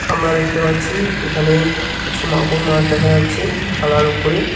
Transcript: আমরা দেখতে পাচ্ছি এখানে কিছু মাগুর মাছ দেখা যাচ্ছে থালার উপরে।